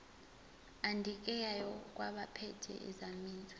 adingekayo kwabaphethe ezamanzi